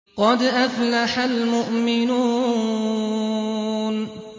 قَدْ أَفْلَحَ الْمُؤْمِنُونَ